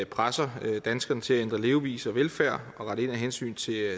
presser danskerne til at ændre levevis og adfærd og rette ind af hensyn til